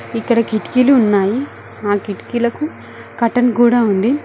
ఇక్కడ కిటికీలు ఉన్నాయి ఆ కిటికీలకు కటన్ కూడా ఉంది.